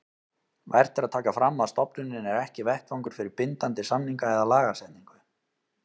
Vert er að taka fram að stofnunin er ekki vettvangur fyrir bindandi samninga eða lagasetningu.